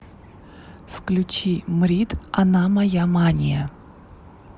включи мрид она моя мания